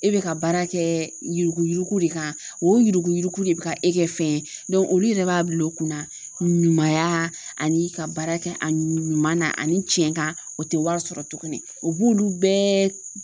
E bɛ ka baara kɛ yuruguyurugu de kan o yuruguyurugu de bɛ ka e kɛ fɛn ye olu yɛrɛ b'a bila u kunna ɲumanya ani ka baara kɛ a ɲuman na ani cɛn kan o tɛ wari sɔrɔ tuguni o b'olu bɛɛ